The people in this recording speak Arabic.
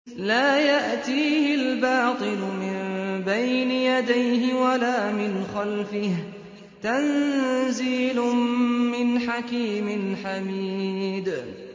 لَّا يَأْتِيهِ الْبَاطِلُ مِن بَيْنِ يَدَيْهِ وَلَا مِنْ خَلْفِهِ ۖ تَنزِيلٌ مِّنْ حَكِيمٍ حَمِيدٍ